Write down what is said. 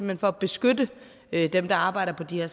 hen for at beskytte dem der arbejder på de her